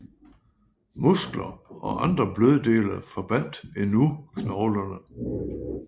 Muskler og andre bløddele forbandt endnu knoglerne